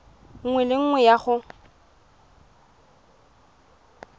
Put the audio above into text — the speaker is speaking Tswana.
nngwe le nngwe ya go